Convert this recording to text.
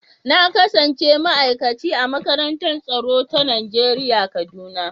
Na kasance ma'aikaci a makarantar tsaro ta Najeriya kaduna.